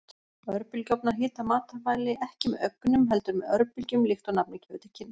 Örbylgjuofnar hita matvæli ekki með ögnum, heldur með örbylgjum líkt og nafnið gefur til kynna.